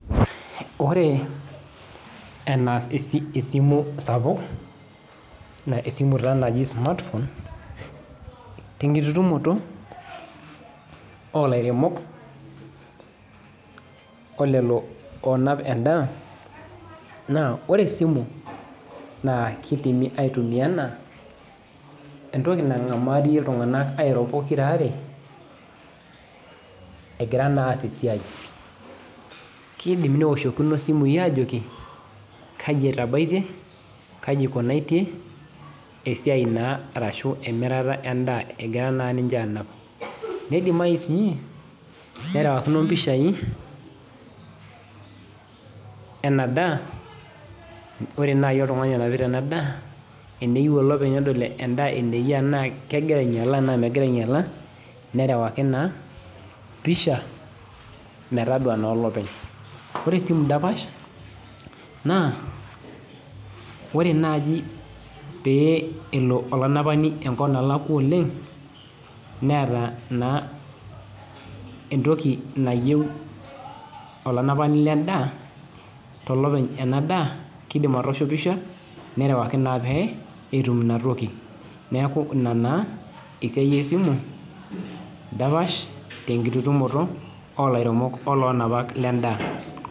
Ore enaas esimu sapuk na esimu naji smartphone tenkututumoto olaremok olelo onap endaa na ore esimu kidimi aitumia ana entoki nangamario ltunganak egira naa aas esiai kidim neoshokino simui ajo ki kejaa esiai kai etabaitie kai ikunari esiai na ashu emirata endaa egira na ninche nidimai sii nerewakino mpisai enadaa ore nai oltungani onapita enadaa eneyieu olopeny nedol ana kegira ainyala ana megira ainyala nerewaki na pisha metadua olopeny ore esimu dapash ore nai pelo olanapani enkop nalakwa oleng neeta na entoki nayiau olanapani lendaa tolopeny endaa kidim atoosho pisha nerewaki na peyie etuk intoki neaku ina naa esiai esimu dapasha tenkitumoto olainyak lendaa.